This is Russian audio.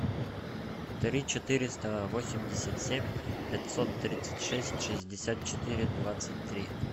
три четыреста восемьдесят семь пятьсот тридцать шесть шестьдесят четыре двадцать три